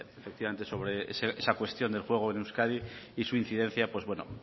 sobre esa cuestión del juego en euskadi y su incidencia